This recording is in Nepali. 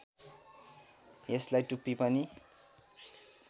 यसलाई टुप्पी पनि